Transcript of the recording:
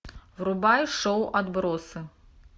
врубай шоу отбросы